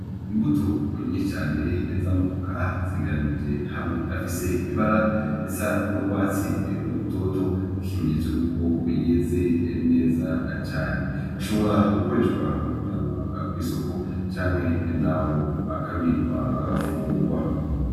Imbuto nyicane eza amuvuka zigeranije hamwe afise ibara esa n'urwatsi rutoto gikimenyetso yuko yeze eneza cane ashobora gukoreshwa mu kujanwa kw'isoko canke na ho akabikwa agafungurwa.